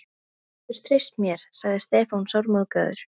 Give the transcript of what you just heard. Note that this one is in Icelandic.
Þú getur treyst mér, sagði Stefán sármóðgaður.